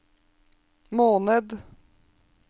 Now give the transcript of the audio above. måned